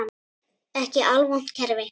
Ekki alvont kerfi.